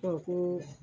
ko